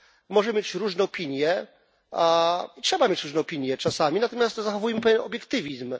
Można mieć różne opinie i trzeba mieć różne opinie czasami natomiast zachowujmy pewien obiektywizm.